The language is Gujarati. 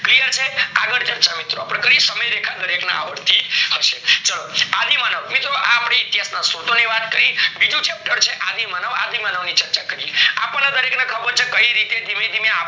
clear છે આગળ ચર્ચા મિત્રો અપડે કરીએ સમય રેખા દરેક દરેક ને આવડતી હશે, ચાલો આદિમાનવ મિત્રો આ અપડે એક જાતની શોધો ની વાત કરી બીજું chapter છે આદિમાનવ આદિમાનવ ની ચર્ચ કરીએ અપડે દરેક ને ખબર છે કઈ રીતે ધીમે ધીમે